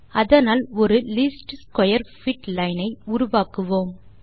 அதனால் ஒரு least square fit line ஐ உருவாக்குவோம்